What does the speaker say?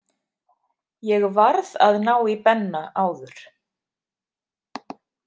Ég varð að ná í Benna áður.